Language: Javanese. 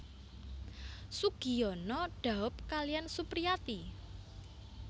Sugiyono dhaup kaliyan Supriyati